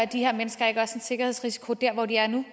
de her mennesker ikke også en sikkerhedsrisiko der hvor de er nu